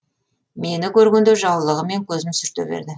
мені көргенде жаулығымен көзін сүрте берді